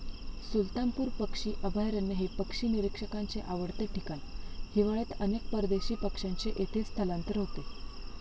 सुलतानपूर पक्षी अभयारण्य हे पक्षी निरिक्षकांचे आवडते ठिकाण. हिवाळ्यात अनेक परदेशी पक्ष्यांचे येथे स्थलांतर होते.